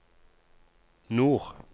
nord